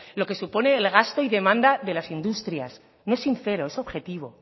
lo que supone el gasto y demanda de las industrias no es sincero es objetivo